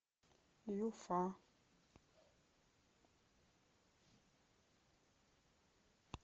юфа